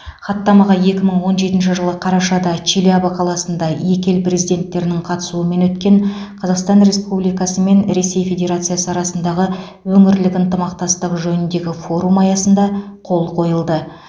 хаттамаға екі мың он жетінші жылы қарашада челябі қаласында екі ел президенттерінің қатысуымен өткен қазақстан республикасы мен ресей федерациясы арасындағы өңірлік ынтымақтастық жөніндегі форум аясында қол қойылды